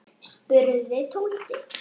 spurði Tóti.